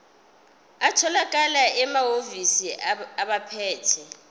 atholakala emahhovisi abaphethe